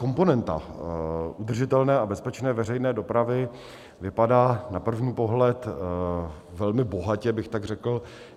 Komponenta udržitelné a bezpečné veřejné dopravy vypadá na první pohled velmi bohatě, bych tak řekl.